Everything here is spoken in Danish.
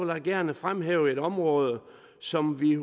jeg gerne fremhæve et område som vi